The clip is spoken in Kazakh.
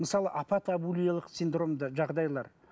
мысалы апатабулиялық синдромды жағдайлар